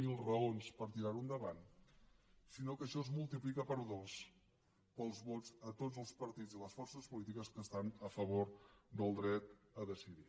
zero raons per tirarho endavant sinó que això es multiplica per dos pels vots a tots els partits i les forces polítiques que estan a favor del dret a decidir